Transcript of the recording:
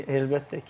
Əlbəttə ki.